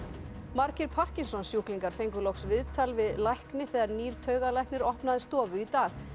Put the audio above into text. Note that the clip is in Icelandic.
margir parkinsonssjúklingar fengu loks viðtal við lækni þegar nýr taugalæknir opnaði stofu í dag